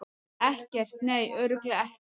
Ekkert, nei, örugglega ekkert.